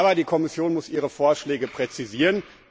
Aber die Kommission muss ihre Vorschläge präzisieren.